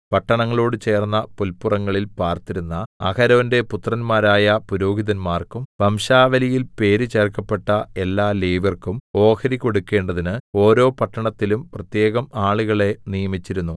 പട്ടണങ്ങളോട് ചേർന്ന പുൽപ്പുറങ്ങളിൽ പാർത്തിരുന്ന അഹരോന്റെ പുത്രന്മാരായ പുരോഹിതന്മാർക്കും വംശാവലിയിൽ പേര് ചേർക്കപ്പെട്ട എല്ലാ ലേവ്യർക്കും ഓഹരി കൊടുക്കണ്ടതിന് ഓരോ പട്ടണത്തിലും പ്രത്യേകം ആളുകളെ നിയമിച്ചിരുന്നു